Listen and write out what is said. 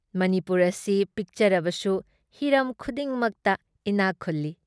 ꯃꯅꯤꯄꯨꯔ ꯑꯁꯤ ꯄꯤꯛꯆꯔꯕꯁꯨ ꯍꯤꯔꯝ ꯈꯨꯗꯤꯡꯃꯛꯇ ꯏꯅꯥꯛ ꯈꯨꯜꯂꯤ ꯫"